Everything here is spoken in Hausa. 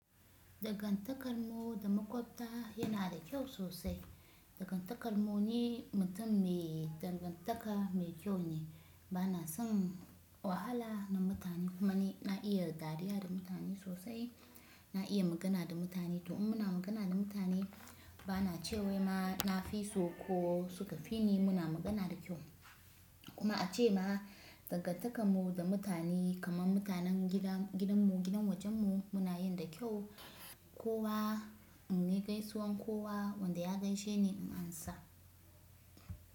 Dangantakar mu da maƙwabta yana da kyau sosai. Dangantakar mu ne, mutum me dangantaka mai kyau ne. Bana son wahala na mutane kamani na iya dariya da mutane sosai, na iya magana da mutane. To in muna magana da mutane bana cewa ma na fi so ko suka fi ni muna magana da kyau. Kuma ace ma dangantakar mu da mutane kamar mutanen gidanmu, gidan wajenmu muna yin da kyau. Kowa in nayi gaisuwan kowa wanda ya gaishe ni in amsa.